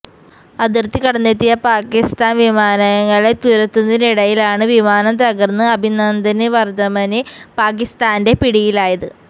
അതിര്ത്തി കടന്നെത്തിയ പാകിസ്താന് വിമാനങ്ങളെ തുരത്തുന്നതിനിടയിലാണ് വിമാനം തകര്ന്ന് അഭിനന്ദന് വര്ദ്ധമന് പാകിസ്താന്റെ പിടിയിലായത്